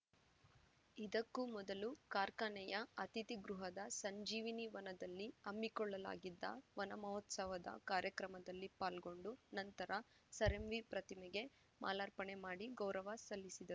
ಇದಕ್ಕೂ ಮೊದಲು ಕಾರ್ಖಾನೆಯ ಅತಿಥಿ ಗೃಹದ ಸಂಜೀವಿನಿ ವನದಲ್ಲಿ ಹಮ್ಮಿಕೊಳ್ಳಲಾಗಿದ್ದ ವನಮಹೋತ್ಸವದಲ್ಲಿ ಕಾರ್ಯಕ್ರಮದಲ್ಲಿ ಪಾಲ್ಗೊಂಡು ನಂತರ ಸರ್‌ಎಂವಿ ಪ್ರತಿಮೆಗೆ ಮಾಲಾರ್ಪಣೆ ಮಾಡಿ ಗೌರವ ಸಲ್ಲಿಸಿದರು